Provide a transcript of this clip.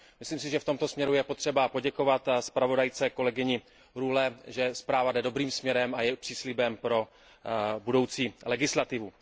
Myslím si, že v tomto směru je potřeba poděkovat zpravodajce Rühleové za to, že zpráva jde dobrým směrem a je příslibem pro budoucí legislativu.